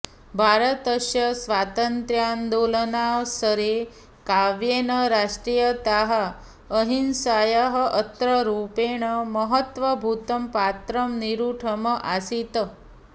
भारतस्य स्वातन्त्र्यान्दोलनावसरे काव्येन राष्ट्रियतायाः अहिंसायाः अस्त्ररूपेण महत्त्वभूतं पात्रं निरूढम् आसीत्